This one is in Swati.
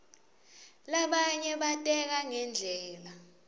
labanye bateka ngendlela